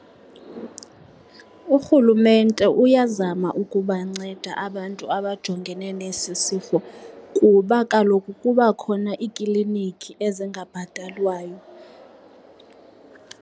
Urhulumente uyazama ukubanceda abantu abajongene nesi sifo kuba kaloku kuba khona iikliniki ezingabhatalwayo.